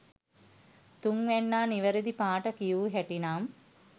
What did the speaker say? තුන්වැන්නා නිවැරදි පාට කියූ හැටි නම්